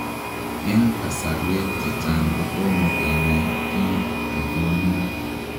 Eng kasarwek chechang kotomoo kenai kiit negonuu.